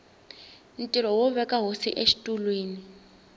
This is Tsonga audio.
ntirho wo veka hosi exitulwini